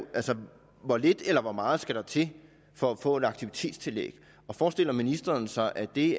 hvor lidt eller hvor meget der skal til for at få et aktivitetstillæg forestiller ministeren sig at det